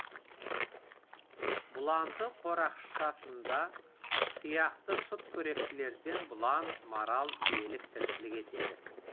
бұланды қорақшасында тұяқты сүтқоректілерден бұлан марал елік тіршілік етеді